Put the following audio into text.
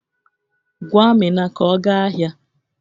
Gwa Amina ka ọ gaa ahịa.